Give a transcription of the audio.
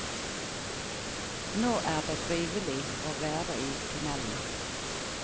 Nå er det trivelig å være i tunnelen.